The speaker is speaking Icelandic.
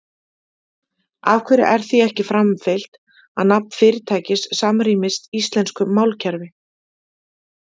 Af hverju er því ekki framfylgt að nafn fyrirtækis samrýmist íslensku málkerfi?